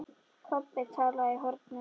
Kobbi talaði í hornið.